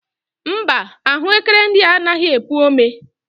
Mba, ahụekere ndị a anaghị epu ome.